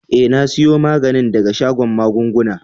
Eh, na siyo maganin daga shagon magunguna.